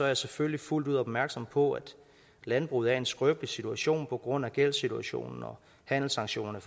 jeg selvfølgelig fuldt ud opmærksom på at landbruget er i en skrøbelig situation på grund af gældssituationen og handelssanktionerne